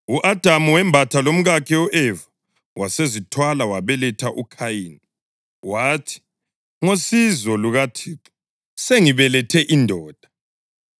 U-Adamu wembatha lomkakhe u-Eva, wasezithwala, wabeletha uKhayini. Wathi, “Ngosizo lukaThixo sengibelethe indoda.”